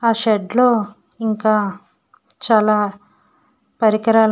ఆ షెడ్ లో ఇంకా చాలా పరికరాలు--